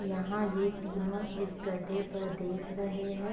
यहाँ ये तीनो इस गड्ढे पर देख रहे हैं।